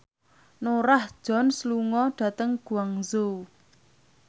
Norah Jones lunga dhateng Guangzhou